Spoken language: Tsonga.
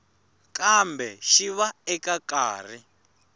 kambe xi va eka nkarhi